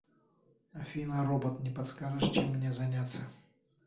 афина робот не подскажешь чем мне заняться